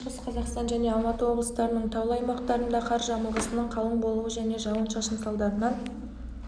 оңтүстік қазақстан шығыс қазақстан және алматы облыстарының таулы аймақтарында қар жамылғысының қалың болуы және жауын-шашын салдарынан